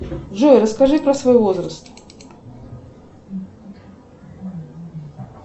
джой расскажи про свой возраст